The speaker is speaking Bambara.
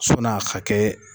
Sɔn'a ka kɛ